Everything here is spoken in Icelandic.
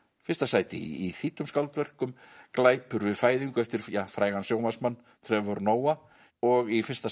fyrsta sæti í þýddum skáldverkum glæpur við fæðingu eftir frægan sjónvarpsmann Trevor Noah og í fyrsta